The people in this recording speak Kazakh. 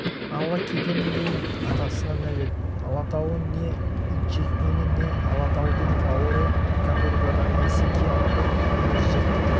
ала кетемін деймін атасына нәлет алатауы не итжеккені не алатаудың бауыры каторгадан несі кем бір күнімізді